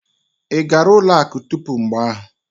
Ị gara ụlọ akụ tupu mgbe ahụ?